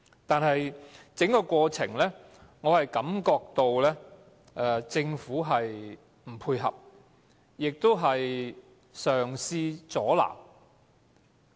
但是，在整個過程中，我感覺到政府不配合，更嘗試阻撓。